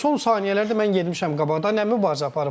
son saniyələrdə mən getmişəm qabağa, nə mübarizə aparıb.